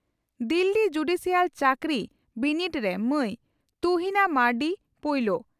Delhi judicial ᱪᱟᱹᱠᱨᱤ ᱵᱤᱱᱤᱰᱮ ᱨᱮ ᱢᱟᱹᱭ ᱛᱩᱦᱤᱱᱟ ᱢᱟᱨᱱᱰᱤ ᱯᱩᱭᱞᱩ